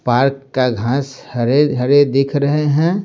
Park का घास हरे हरे देख रहे है।